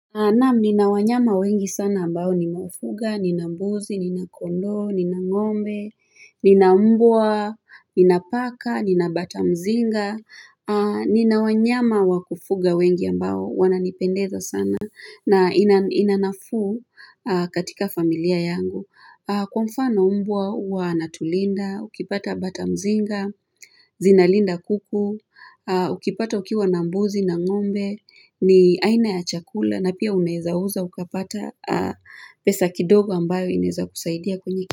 Naam, nina wanyama wengi sana ambao nimefuga, nina mbuzi, nina kondoo, nina ngombe, nina mbwa, nina paka, nina bata mzinga, nina wanyama wa kufuga wengi ambao wananipendeza sana na ina nafuu katika familia yangu. Kwa mfan mbwa huwa anatulinda, ukipata bata mzinga, zinalinda kuku, ukipata ukiwa na mbuzi na ngombe, ni aina ya chakula na pia unaeza uza ukapata pesa kidogo ambayo inaeza kusaidia kwenye.